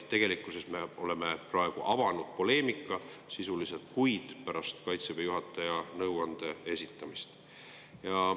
Tegelikkuses me oleme sisuliselt avanud mitu kuud pärast Kaitseväe juhataja nõuande esitamist.